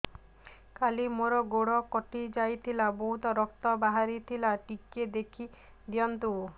କାଲି ମୋ ଗୋଡ଼ କଟି ଯାଇଥିଲା ବହୁତ ରକ୍ତ ବାହାରି ଥିଲା ଟିକେ ଦେଖି ଦିଅନ୍ତୁ